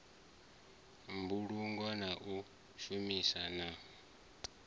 mbulungo na u shumana na